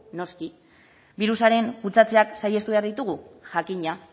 noski birusaren kutsatzeak saihestu behar ditugu jakina